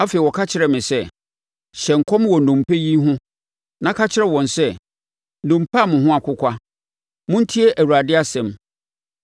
Afei ɔka kyerɛɛ me sɛ, “Hyɛ nkɔm wɔ nnompe yi ho na ka kyerɛ wɔn sɛ, ‘Nnompe a mo ho akokwa, montie Awurade asɛm!